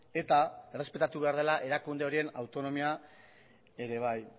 eta errespetatu behar dela erakunde horien autonomia ere bai